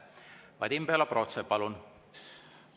Vadim Belobrovtsev, palun!